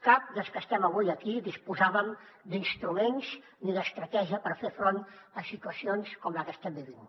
cap dels que estem avui aquí disposàvem d’instruments ni d’estratègia per fer front a situacions com la que estem vivint